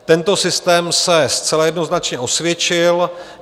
Tento systém se zcela jednoznačně osvědčil.